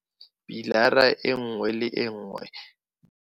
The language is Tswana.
Pilara e nngwe le e nngwe.